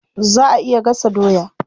Za a iya gasa doya.